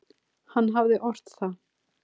Hann hafði ort það.